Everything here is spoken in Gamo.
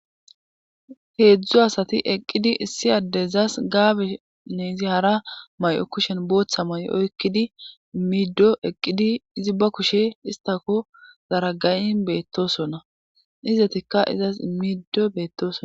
heedzdzu asati eqqidi issi addezas gaabene izi hara may7o kushen booththa may7o oykkidi immido eqqidi izi ba kushe istako zaragayin beettosonna izetikka izas immido beettosona